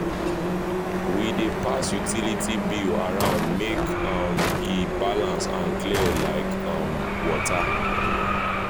we dey pass utility bills around make um e balance and clear like um water.